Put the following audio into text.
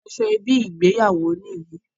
Aṣọ ẹbí ìgbéyàwó yí ni.